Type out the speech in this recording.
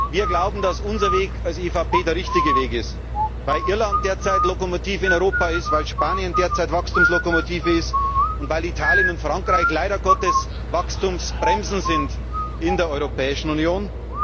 hat. Wir glauben, dass unser Weg als EVP der richtige Weg ist weil Irland derzeit Lokomotive in Europa ist, weil Spanien derzeit Wachstumslokomotive ist und weil Italien und Frankreich leider Gottes Wachstumsbremsen sind in der Europäischen